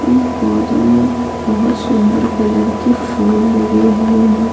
इन पौधों में बहुत सुंदर कलर के फूल लगे हुए हैं।